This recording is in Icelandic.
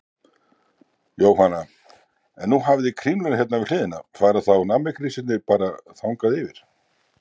Jóhanna: En nú hafið þið Kringluna hérna við hliðina, fara þá nammigrísirnir bara þangað yfir?